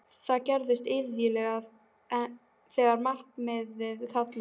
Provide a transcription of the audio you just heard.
Það gerist iðulega þegar náttmyrkrið kallar.